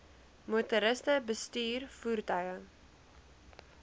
motoriste bestuur voertuie